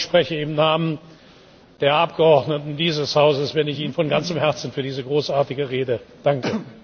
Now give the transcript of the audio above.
Ich glaube, ich spreche im Namen der Abgeordneten dieses Hauses, wenn ich Ihnen von ganzem Herzen für diese großartige Rede danke.